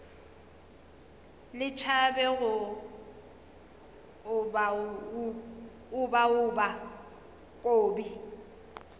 le tšhabe go obaoba kobi